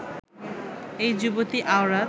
এই যুবতী আওরাত